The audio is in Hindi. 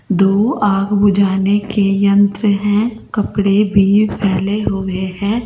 दो आग बुझाने के यंत्र हैं कपड़े भी फैले हुए हैं।